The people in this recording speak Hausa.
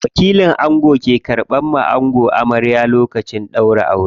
Wakilin ango ke karɓa wa ango amaryar sa lokacin ɗaurin aure.